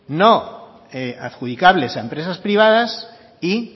no adjudicadles a empresas privadas y